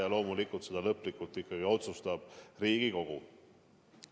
Aga loomulikult seda lõplikult ikkagi otsustab Riigikogu.